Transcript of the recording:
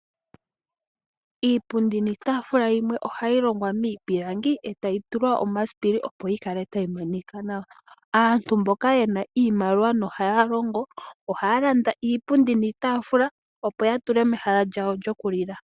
Iipundi niitaafula yimwe oha yi longwa miipililangi, eta yi tulwa omasipili opo yi ksle ta yi Monika nawa. Aantu mboka yena iimsliwa no ha ya longo, oha ya landa iipundi niitafula opo ya tule mehala lyawo lyo ku lila.